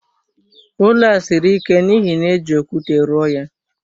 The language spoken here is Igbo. Ụlọ a siri ike n'ihi na éjị okwute rụọ ya